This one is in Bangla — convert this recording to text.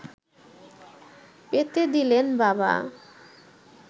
পেতে দিলেন বাবা